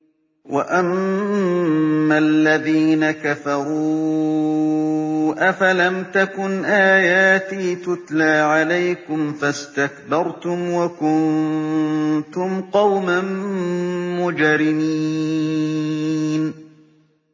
وَأَمَّا الَّذِينَ كَفَرُوا أَفَلَمْ تَكُنْ آيَاتِي تُتْلَىٰ عَلَيْكُمْ فَاسْتَكْبَرْتُمْ وَكُنتُمْ قَوْمًا مُّجْرِمِينَ